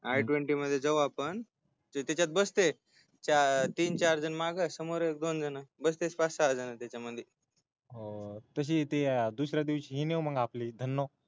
i twenty मध्ये जाऊ आपण म्हणजे त्याच्यात बसतय तीन चार माग समोर दोन जण बसतेत पाच सहा जण त्याच्यामध्ये तुझी ती दुस-यी दिवशी ती नेऊ ना आपण धन्ना